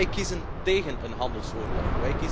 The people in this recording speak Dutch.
Wij kiezen tégen een handelsoorlog.